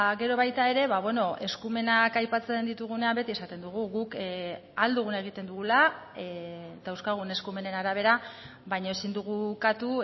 gero baita ere eskumenak aipatzen ditugunean beti esaten dugu guk ahal duguna egiten dugula dauzkagun eskumenen arabera baina ezin dugu ukatu